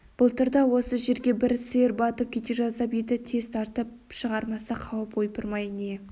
былтыр да осы жерге бір сиыр батып кете жаздап еді тез тартып шығармаса қауіп ойпырмай не